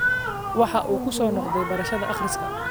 Waxa uu ku soo noqday barashada akhriska